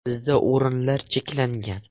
Bizda o‘rinlar cheklangan.